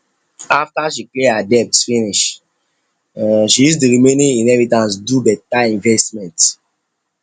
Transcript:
after she clear her debt finish um she use the remaining inheritance do better investment